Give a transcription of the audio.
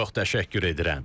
Çox təşəkkür edirəm.